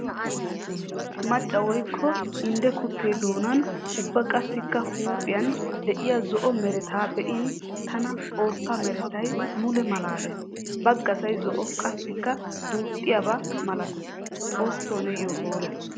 Maca woykko indde kute doonan ubba qassikka huuphiyan de'iya zo'o meretta be'in taana xoosa merettay mule malaales. Baggasay zo'o qassikka duuxxiyabba malatees, xooso niyo hoolla!